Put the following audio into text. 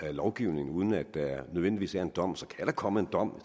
af lovgivning uden at der nødvendigvis er en dom så kan der komme en dom